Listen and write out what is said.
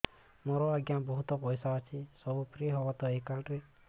ମୋର ଆଜ୍ଞା ବହୁତ ପଇସା ଅଛି ସବୁ ଫ୍ରି ହବ ତ ଏ କାର୍ଡ ରେ